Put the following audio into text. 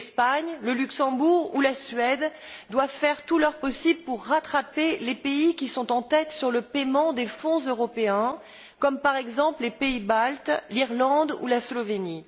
L'Espagne, le Luxembourg ou la Suède doivent faire tout leur possible pour rattraper les pays qui sont en tête sur le paiement des fonds européens, comme par exemple les pays baltes, l'Irlande ou la Slovénie.